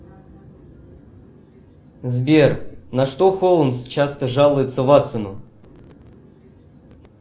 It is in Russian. сбер на что холмс часто жалуется ватсону